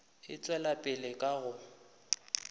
e tšwela pele ka go